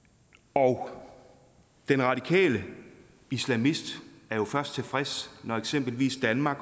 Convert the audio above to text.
og den radikale islamist er jo først tilfreds når eksempelvis danmark